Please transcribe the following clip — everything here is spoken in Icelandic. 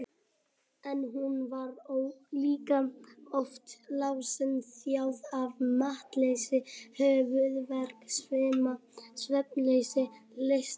En hún var líka oft lasin, þjáð af máttleysi, höfuðverk, svima, svefnleysi, lystarleysi.